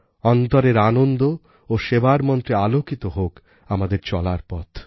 অন্তরের আনন্দ ও সেবার মন্ত্রে আলোকিত হোক আমাদের চলার পথ